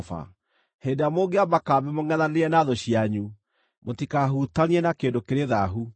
Hĩndĩ ĩrĩa mũngĩamba kambĩ mũngʼethanĩire na thũ cianyu, mũtikahutanie na kĩndũ kĩrĩ thaahu.